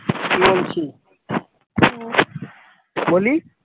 বলি।